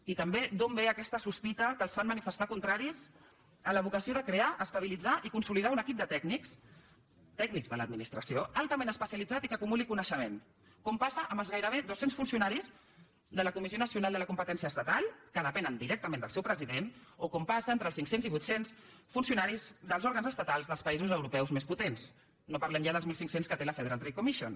i també d’on ve aquesta sospita que els fa manifestar contraris a la vocació de crear estabilitzar i consolidar un equip de tècnics tècnics de l’administració altament especialitzat i que acumuli coneixement com passa amb els gairebé dos cents funcionaris de la comissió nacional de la competència estatal que depenen directament del seu president o com passa entre els cinc cents i vuit cents funcionaris dels òrgans estatals dels països europeus més potents no parlem ja dels mil cinc cents que té la federal trade commission